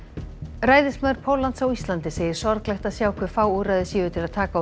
ræðismaður Póllands á Íslandi segir sorglegt að sjá hve fá úrræði séu til að taka á